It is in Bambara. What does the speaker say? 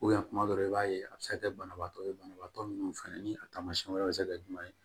tuma dɔw i b'a ye a bi se ka kɛ banabaatɔ ye banabaatɔ minnu fɛnɛ ni a taamasiyɛn wɛrɛ bɛ se ka kɛ jumɛn ye